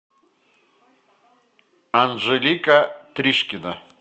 анжелика тришкина